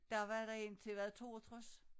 Der var der en til hvad 62